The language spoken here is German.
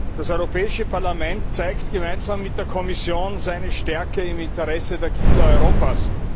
Das Europäische Parlament zeigt gemeinsam mit der Kommission seine Stärke im Interesse der Kinder Europas.